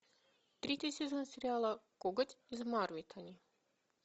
третий сезон сериала коготь из мавритании